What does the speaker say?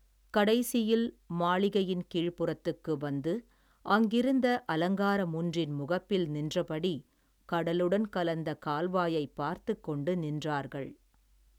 கடைசியில், மாளிகையின் கீழ்ப்புறத்துக்கு வந்து, அங்கிருந்த அலங்கார முன்றின் முகப்பில் நின்றபடி, கடலுடன் கலந்த கால்வாயை பார்த்துக் கொண்டு நின்றார்கள்.